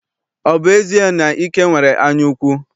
Ọ bụ ezie na Ike nwere anyaukwu?